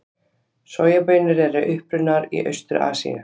Sojabaunir eru upprunnar í Austur-Asíu.